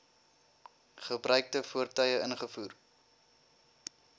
gebruikte voertuie ingevoer